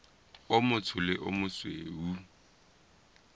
o motsho le o mosweu